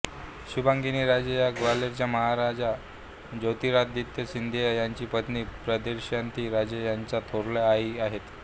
शुभांगिनी राजे या ग्वाल्हेरचे महाराजा ज्योतिरादित्य सिंधिया यांची पत्नी प्रियदर्शिनी राजे यांच्या थोरल्या आई आहेत